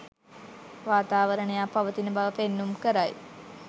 වාතාවරණයක් පවතින බව පෙන්නුම් කරයි.